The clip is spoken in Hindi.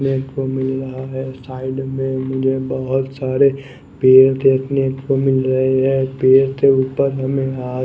देखने को मिल रहा है साईड में बहुतसारे पेड़ देखने को मिल रहे है पेड़ के ऊपर हमे यहाँ --